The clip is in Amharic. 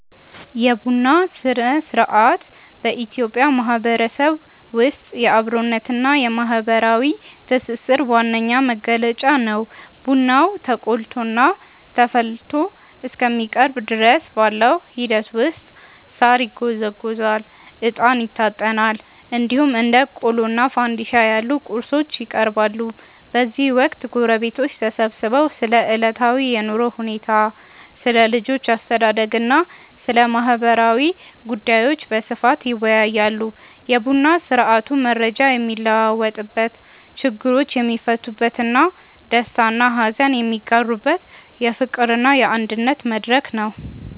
የቡና ሥነ-ሥርዓት በኢትዮጵያ ማህበረሰብ ውስጥ የአብሮነትና የማህበራዊ ትስስር ዋነኛ መገለጫ ነው። ቡናው ተቆልቶና ተፈልቶ እስከሚቀርብ ድረስ ባለው ሂደት ውስጥ ሳር ይጎዘጎዛል፣ እጣን ይታጠናል፣ እንዲሁም እንደ ቆሎና ፋንድሻ ያሉ ቁርሶች ይቀርባሉ። በዚህ ወቅት ጎረቤቶች ተሰብስበው ስለ ዕለታዊ የኑሮ ሁኔታ፣ ስለ ልጆች አስተዳደግና ስለ ማህበራዊ ጉዳዮች በስፋት ይወያያሉ። የቡና ስርአቱ መረጃ የሚለዋወጥበት፣ ችግሮች የሚፈቱበትና ደስታና ሀዘን የሚጋሩበት የፍቅርና የአንድነት መድረክ ነው።